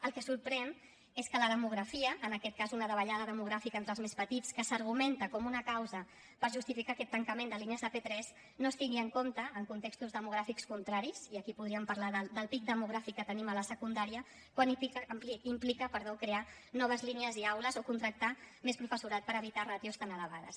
el que sorprèn és que la demografia en aquest cas una davallada demogràfica entre els més petits que s’argumenta com una causa per justificar aquest tancament de línies de p3 no es tingui en compte en contextos demogràfics contraris i aquí podríem parlar del pic demogràfic que tenim a la secundària quan implica crear noves línies i aules o contractar més professorat per evitar ràtios tan elevades